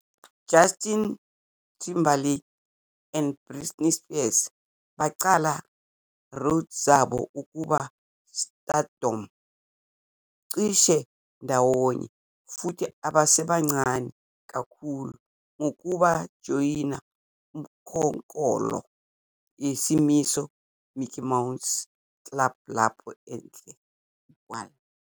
Justin Timberlake and Britney Spears baqala road zabo ukuba stardom cishe ndawonye futhi abasebancane kakhulu, ngokujoyina ukhonkolo yesimiso Mickey Mouse Club lapho ndle igual